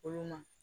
Olu ma